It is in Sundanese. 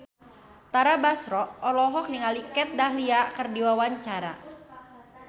Tara Basro olohok ningali Kat Dahlia keur diwawancara